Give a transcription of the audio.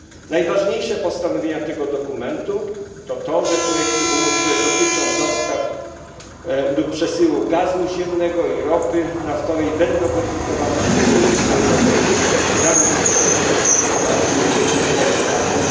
Najważniejsze postanowienia tego dokumentu to to, że projekty umów, które dotyczą dostaw lub przesyłu gazu ziemnego i ropy naftowej, będą weryfikowane przez Komisję Europejską, zanim zostaną ratyfikowane, czyli ex ante.